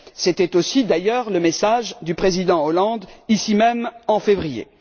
C'était d'ailleurs aussi le message du Président Hollande ici même, en février.